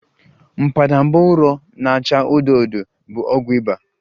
Mbadamba ụrọ na-acha odo odo bụ ọgwụ ịba